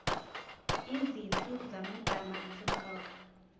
izinhlu zamagama asemqoka